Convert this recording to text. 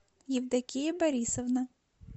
евдокия борисовна